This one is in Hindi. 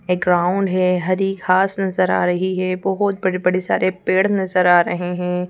एक ग्राउंड है हरी घास नजर आ रही है बहुत बड़े-बड़े सारे पेड़ नजर आ रहे हैं।